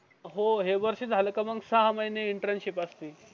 हो हे वर्ष झाला का मग सहा महिने इंटर्नशिप असती